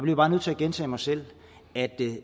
jeg bare nødt til at gentage mig selv